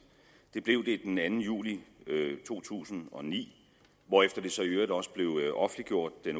det blev det den anden juli to tusind og ni hvorefter det så i øvrigt også blev offentliggjort den